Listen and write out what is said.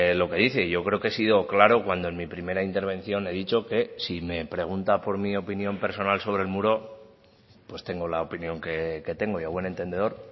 lo que dice yo creo que he sido claro cuando en mi primera intervención he dicho que si me pregunta por mi opinión personal sobre el muro pues tengo la opinión que tengo y a buen entendedor